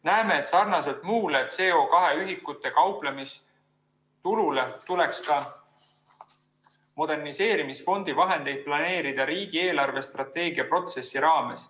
Näeme, et sarnaselt muu CO2 ühikutega kauplemise tuluga tuleks ka moderniseerimisfondi vahendeid planeerida riigi eelarvestrateegia protsessi raames.